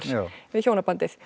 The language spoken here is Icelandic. við hjónabandið